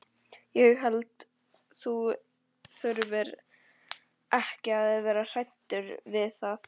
Ég held þú þurfir ekki að vera hræddur við það.